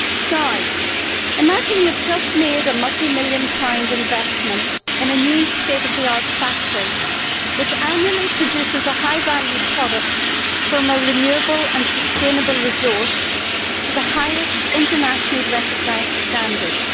Now, imagine you have just made a multi million pound investment in a new state of the art factory which annually produces a high value product from a renewable and sustainable resource to the highest internationally recognised standards.